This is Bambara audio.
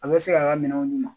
A bɛ se k'a ka minɛnw di ma